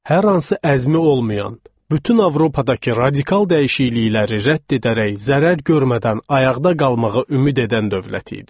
Hər hansı əzmi olmayan, bütün Avropadakı radikal dəyişiklikləri rədd edərək zərər görmədən ayaqda qalmağı ümid edən dövlət idi.